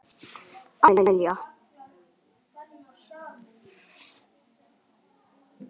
Það er rosa flott.